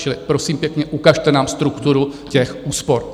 Čili prosím pěkně, ukažte nám strukturu těch úspor.